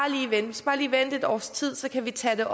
lige skal vente et års tid så kan vi tage det